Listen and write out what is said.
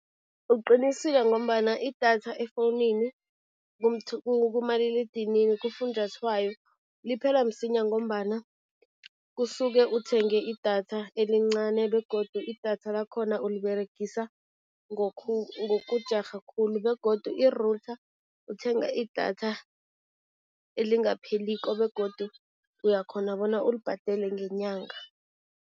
Uqinisile ngombana idatha efowunini, kumaliledinini, kufunjathwayo liphela msinya ngombana kusuke uthenge idatha elincane begodu idatha lakhona uliberegisa ngokujarha khulu begodu i-router uthenga idatha elingapheliko begodu uyakghona bona ulibhadele ngenyanga.